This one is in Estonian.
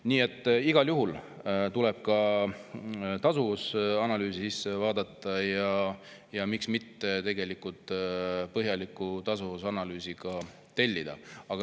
Nii et igal juhul tuleb ka tasuvusanalüüsi vaadata ja miks mitte põhjalik tasuvusanalüüs tellida.